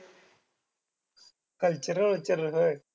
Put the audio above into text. Cultural vultural व्हयं?